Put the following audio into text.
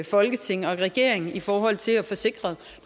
folketing og regering i forhold til at få sikret